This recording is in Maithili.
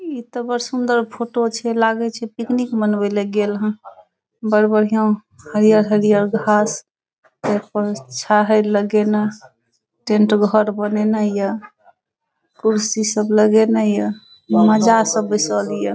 इ ते बड़ सुंदर फोटो छै लाएग रहल छै पिकनिक मनवे ले गेल हेय बड़ बढ़िया हरियर हरियर घास ए पर छाहेर लगेएने टेंट घर लगेने ये कुर्सी सब लगेने ये मजा से बैसल ये।